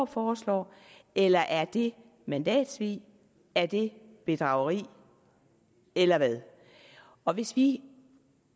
foreslår eller er det mandatsvig er det bedrageri eller hvad og hvis vi